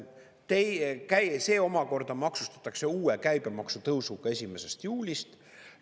See omakorda maksustatakse uue käibemaksutõusuga 1. juulist.